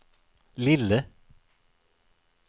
lille